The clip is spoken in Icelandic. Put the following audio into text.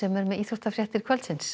er með íþróttafréttir kvöldsins